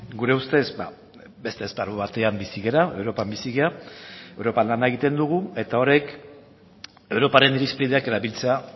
gure ustez beste esparru batean bizi gara europan bizi gara europan lana egiten dugu eta horrek europaren irizpideak erabiltzea